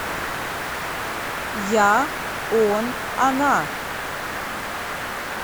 я он она